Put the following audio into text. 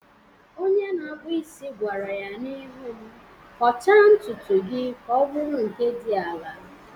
Onye na-akpụ isi gwara ya n'ihu m, "Kọchaa ntutu gị ka ọ bụrụ nke dị ala""